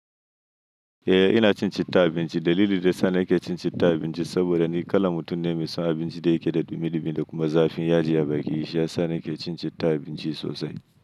Eh ina cin citta abinci. Dalili da yana yake cin citta abinci saboda ni kalan mutum ne mai son abinci da yake da dumi, dumi da kuma zafin yaji ya baƙi. Shiya sa nake cin citta abinci sosai.